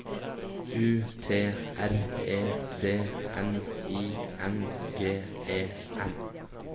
U T R E D N I N G E N